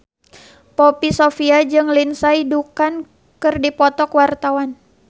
Poppy Sovia jeung Lindsay Ducan keur dipoto ku wartawan